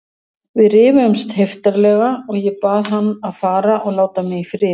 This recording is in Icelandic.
Við rifumst heiftarlega og ég bað hann að fara og láta mig í friði.